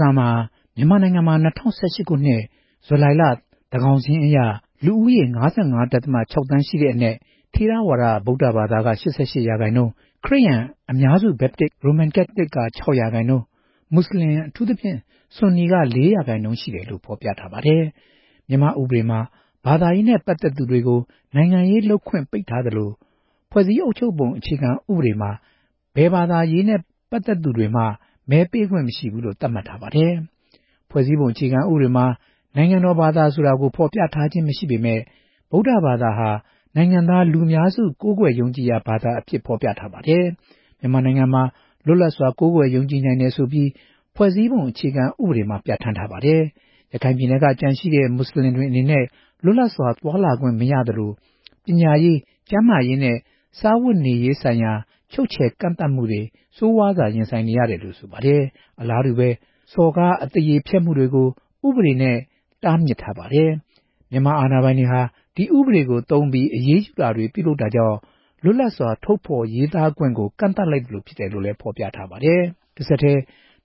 စာမှာ မြန်မာနိုင်ငံမှာ ၂ဝ၁၈ ခုနှစ် ဇူလိုင်လ သန်းခေါင်စာရင်းအရ လူဦးရေ ၅၅.၆ သန်းရှိတဲ့အနက် ထေရဝါဒ ဗုဒ္ဓဘာသာဝင်က ၈၈ ရာခိုင်နှုန်း၊ ခရစ်ယာန်(အများစု၊ ဘက်တစ်၊နဲ့ ရိုမန်ကက်သလစ်) က ၆ ရာခိုင်နှုန်း၊ မွတ်စလင် အထူးသဖြင့် ဆွန်နီက ၄ ရာခိုင်နှုန်း ရှိတယ်လို့ ဖော်ပြထားပါတယ်။ မြန်မာ့ဥပဒေမှာ ဘာသာရေးနဲ့ ပတ်သက်သူအားလုံး နိုင်ငံရေးလုပ်ခွင့်ပိတ်ပင်ထားသလို ဖွဲ့စည်းအုပ်ချုပ်ပုံမှာလည်း ဘာသာရေးနဲ့ ပတ်သက်သူတွေကို မဲပေးခွင့်မရှိလို့ သတ်မှတ်ထားပါတယ်။ ဖွဲ့စည်းပုံအခြေခံဥပဒေမှာ နိုင်ငံတော်ဘာသာဆိုတာကို ဖော်ပြထားတာမရှိပေမယ့် ဗုဒ္ဓဘာသာဟာ နိုင်ငံသားလူများစု ကိုးကွယ်ယုံကြည်တဲ့ ဘာသာအဖြစ် ဖော်ပြထားပါတယ်။ မြန်မာနိုင်ငံမှာ လွတ်လပ်စွာ ကိုးကွယ်ယုံကြည်နိုင်တယ်ဆိုပြီး ဖွဲ့စည်းပုံအခြေခံဥပဒေမှာ ပြဌာန်းထားပါတယ်။ရခိုင်ပြည်နယ်က ကျန်ရှိ မွတ်စလင်တွေအနေနဲ့ လွတ်လပ်စွာသွားလာခွင့် မရသလို ပညာရေး၊ ကျန်းမာရေးနဲ့ စားဝတ်နေရေးဆိုင်ရာ ချုပ်ချယ်ကန့်သတ်မှုတွေကို ဆိုးဝါးစွာ ရင်ဆိုင်နေရတယ်လို့ ဆိုပါတယ်။ အလားတူ ဘာသာရေးအပါအဝင်၊ ပုဂ္ဂိုလ်ရေး စော်ကားမှု၊ အသရေဖျက်မှုများကို ဥပဒေဖြင့် တားမြစ်ထားပါတယ်။ မြန်မာအာဏာပိုင်တွေဟာ ဒီဥပဒေကိုသုံးပြီး အရေးယူတာတွေ ပြုလုပ်တာကြောင့် လွတ်လပ်စွာ ထုတ်ဖော်ရေးသားခွင့်ကို ကန့်သတ်လိုက်သလိုဖြစ်တယ်လို့လည်း ဖော်ပြထားပါတယ်။ တဆက်တည်း